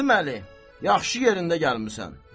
Qasım Əli, yaxşı yerində gəlmisən.